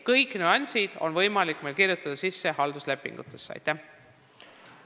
Kõik sellised nüansid on võimalik halduslepingutesse sisse kirjutada.